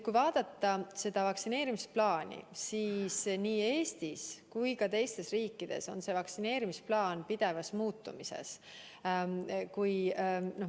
Kui vaadata vaktsineerimisplaani, siis nii Eestis kui ka teistes riikides on vaktsineerimisplaan pidevas muutumises.